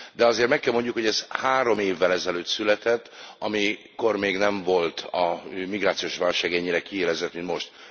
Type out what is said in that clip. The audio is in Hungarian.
De azért meg kell mondjuk, hogy ez három évvel ezelőtt született, amikor még nem volt a migrációs válság ennyire kiélezett, mint most.